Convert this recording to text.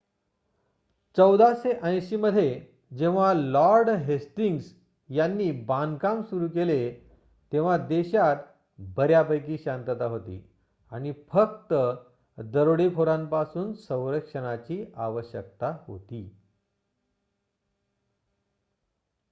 १४८० मध्ये जेव्हा lord Hastings यांनी बांधकाम सुरू केले तेव्हा देशात बऱ्यापैकी शांतता होती आणि फक्त दरोडेखोरांपासून संरक्षणाची आवश्यकता होती